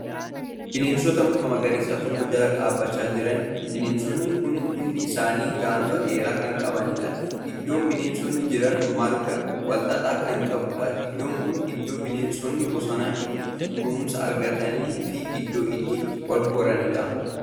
Bineensota muka magariisa tokko Jala dhaabachaa jiraniidha. bineensonni kunniin hundi isaanii gaanfa dheeraa Kan qabaniidha. iddoon bineensonni Jiran marga walxaxaa Kan qabuudha. iddoon kuni iddoo bineensonni bosona itti kunuunsa argataniifi iddoo itti walhoraniidha.